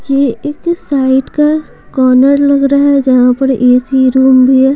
ये एक साइड का कॉर्नर लग रहा है जहां पर एसी रूम भी है।